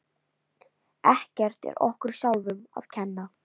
Ekkert er okkur sjálfum að kenna.